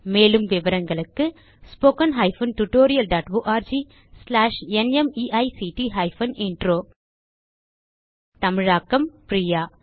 மேலும் விவரங்களுக்கு 1 தமிழாக்கம் பிரியா